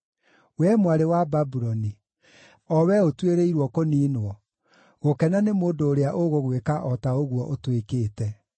Wee mwarĩ wa Babuloni, o wee ũtuĩrĩirwo kũniinwo, gũkena nĩ mũndũ ũrĩa ũgũgwĩka o ta ũguo ũtwĩkĩte: